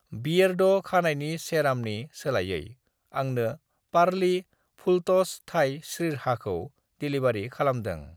"बियेरड' खानायनि सेरामनि सोलायै, आंनो पारलि फुलट'स थाइ स्रिरचहाखौ डेलिबारि खालामदों।"